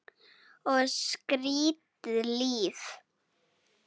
Og skrýtið líf.